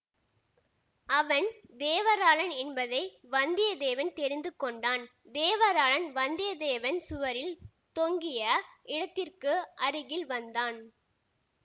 அவன் தேவராளான் என்பதை வந்தியத்தேவன் தெரிந்து கொண்டான் தேவராளான் வந்தியத்தேவன் சுவரில் தொங்கிய இடத்திற்கு அருகில் வந்தான்